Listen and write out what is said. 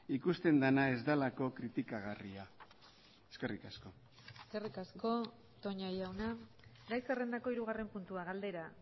ikusten dena ez delako kritikagarria eskerrik asko eskerrik asko toña jauna gai zerrendako hirugarren puntua galdera